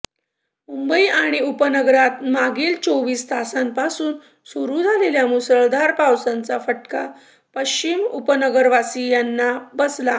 मुंबई आणि उपनगरात मागील चोवीस तासांपासून सुरू झालेल्या मुसळधार पावसाचा फटका पश्चिम उपनगरवासीयांना बसला